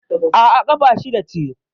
Aa, ƙafa shida ce